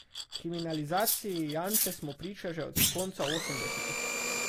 Kriminalizaciji Janše smo priča že od konca osemdesetih.